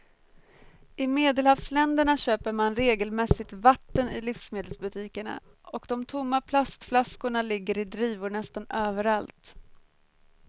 I medelhavsländerna köper man regelmässigt vatten i livsmedelsbutikerna och de tomma plastflaskorna ligger i drivor nästan överallt.